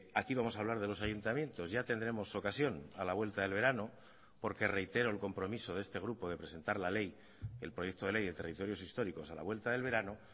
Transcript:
aquí vamos a hablar de los ayuntamientos ya tendremos ocasión a la vuelta del verano porque reitero el compromiso de este grupo de presentar la ley el proyecto de ley de territorios históricos a la vuelta del verano